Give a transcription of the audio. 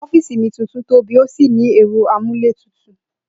Ó̩fíìsì mi tuntun tóbì ó sì ní è̩ro̩ amúlétutù